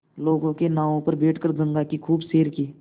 लोगों के नावों पर बैठ कर गंगा की खूब सैर की